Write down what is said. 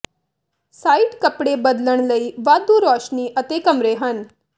site ਕੱਪੜੇ ਬਦਲਣ ਲਈ ਵਾਧੂ ਰੋਸ਼ਨੀ ਅਤੇ ਕਮਰੇ ਹਨ